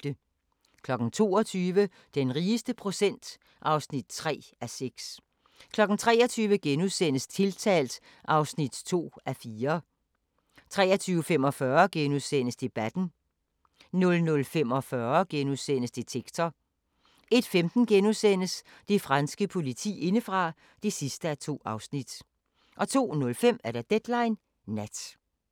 22:00: Den rigeste procent (3:6) 23:00: Tiltalt (2:4)* 23:45: Debatten * 00:45: Detektor * 01:15: Det franske politi indefra (2:2)* 02:05: Deadline Nat